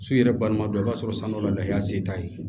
Su yɛrɛ balima dɔ i b'a sɔrɔ san dɔ la lahaliya se t'a ye